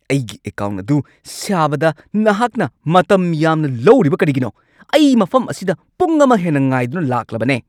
ꯑꯩꯒꯤ ꯑꯦꯀꯥꯎꯟꯠ ꯑꯗꯨ ꯁꯥꯕꯗ ꯅꯍꯥꯛꯅ ꯃꯇꯝ ꯌꯥꯝꯅ ꯂꯧꯔꯤꯕ ꯀꯔꯤꯒꯤꯅꯣ? ꯑꯩ ꯃꯐꯝ ꯑꯁꯤꯗ ꯄꯨꯡ ꯑꯃ ꯍꯦꯟꯅ ꯉꯥꯏꯗꯨꯅ ꯂꯥꯛꯂꯕꯅꯦ!